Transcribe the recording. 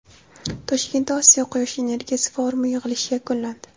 Toshkentda Osiyo quyosh energiyasi forumi yig‘ilishi yakunlandi.